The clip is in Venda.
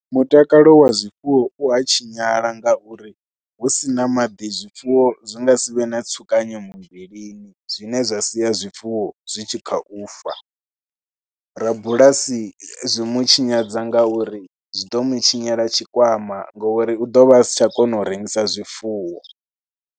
Mutakalo wa zwifuwo u a tshinyala ngauri hu si na maḓi zwifuwo zwi nga si vhe na tsukanyo muvhilini zwine zwa sia zwifuwo zwi tshi kha u fa. Rabulasi zwi mu tshinyadza ngauri zwi ḓo mu tshinyela tshikwama ngori u ḓo vha a si tsha kona u rengisa zwifuwo.